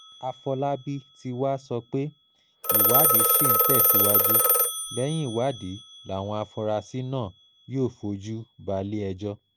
àfọlábí tí wàá sọ pé ìwádìí ṣì ń tẹ̀síwájú lẹ́yìn ìwádìí làwọn afurasí náà yóò fojú balẹ̀-ẹjọ́